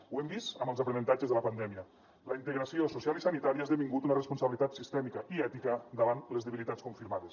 ho hem vist amb els aprenentatges de la pandèmia la integració social i sanitària ha esdevingut una responsabilitat sistèmica i ètica davant les debilitats confirmades